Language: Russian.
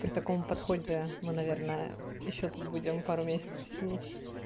при таком подходе мы наверное ещё тут будем пару месяцев сидеть